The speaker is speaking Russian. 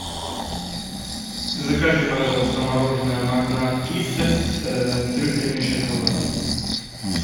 закажи пожалуйста мороженое магнат киссес трюфельный шоколад